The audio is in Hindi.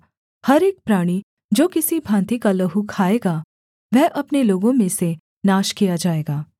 हर एक प्राणी जो किसी भाँति का लहू खाएगा वह अपने लोगों में से नाश किया जाएगा